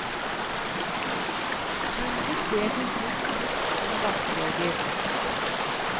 Gulvet ser til slutt ut som et askebeger.